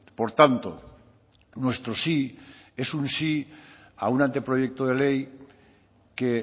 por tanto nuestro sí es un sí a un anteproyecto de ley que